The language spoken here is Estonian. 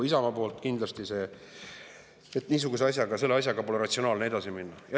Isamaa teeb kindlasti selle ettepaneku, sest niisuguse asjaga pole ratsionaalne edasi minna.